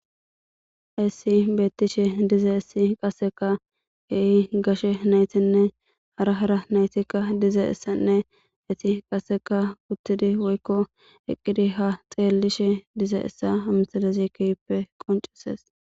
issi beettishe diza issi qasseka heehi gashe naytinne hara hara naytikka diza issanne esi qasseka kuttidi woykko eqqidi ha xeellishe diza issa hamsalezi kiyppe qoncisees